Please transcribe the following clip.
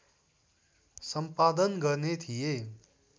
सम्पादन गर्ने थिए